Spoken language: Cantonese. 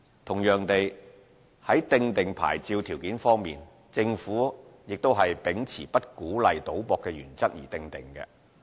同樣地，在訂定牌照條件方面，政府亦是秉持不鼓勵賭博的原則而訂定。